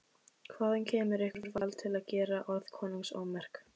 Hvaðan kemur ykkur vald til að gera orð konungs ómerk?